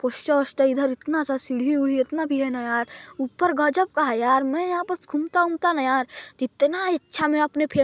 poster -ओस्टर इधर इतना अच्छा सीढी है ना यार ऊपर गजब का है यार मैं यहाँ पास घूमता- उमता न यार त इतना इच्छा में अपने--